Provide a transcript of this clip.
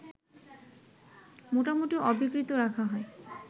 মোটামুটি অবিকৃত রাখা হয়